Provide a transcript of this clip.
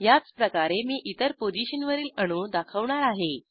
याचप्रकारे मी इतर पोझिशनवरील अणू दाखवणार आहे